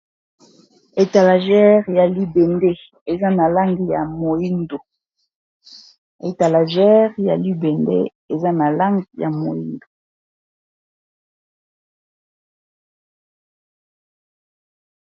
Etalajere ya libende eza na langi ya moyindo.